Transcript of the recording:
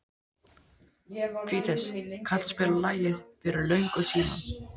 Fídes, kanntu að spila lagið „Fyrir löngu síðan“?